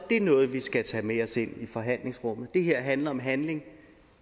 det er noget vi skal tage med os ind i forhandlingsrummet det her handler om handling